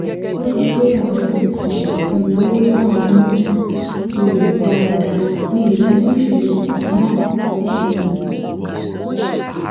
ó sọ pé àwọn um ìnáwó náà ń um lọ dáadáa mi ò sì ní ìṣòro kankan mọ́ um